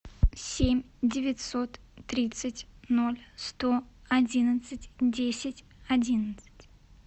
семь девятьсот тридцать ноль сто одиннадцать десять одиннадцать